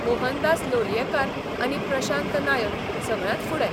मोहनदास लोलयेकार आनी प्रशांत नायक सगळ्यांत फुडें.